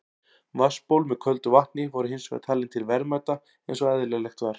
Vatnsból með köldu vatni voru hins vegar talin til verðmæta eins og eðlilegt var.